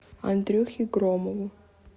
андрюхе громову